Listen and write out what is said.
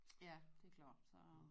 Ja det klart så